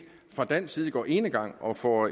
fra dansk side går enegang og får